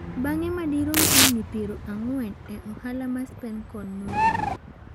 Bang'e madirom higini pieri ang'wen e ohala mar Spencon norumo.